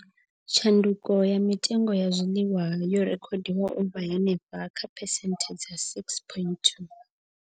Tshanduko kha mitengo ya zwiḽiwa yo rekhodiwa u vha henefha kha phesenthe dza 6.2.